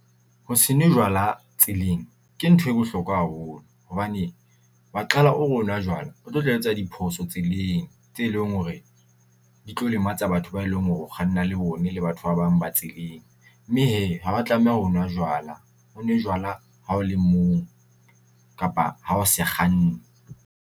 Ho se nwe jwala tseleng ke ntho e bohlokwa haholo, hobane wa qala o re o nwa jwala. O tlo tla etsa diphoso tseleng tse leng hore di tlo lematsa batho ba e leng hore o kganna le bone le batho ba bang ba tseleng. Mme hee ha ba tlameha ho nwa jwala o nwe jwala ha o le mong kapa ha o se kganne.